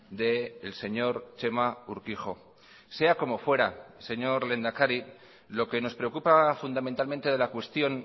del señor txema urkijo sea como fuera señor lehendakari lo que nos preocupa fundamentalmente de la cuestión